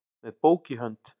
með bók í hönd